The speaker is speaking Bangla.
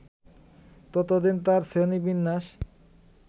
ততদিন তাঁর শ্রেণী-বিন্যাস